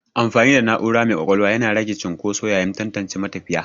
Amfani da na'ura mai ƙwaƙwalwa yana rage cunƙoso yayin tantance matafiya.